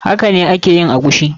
Hakane a ke yin eguisi.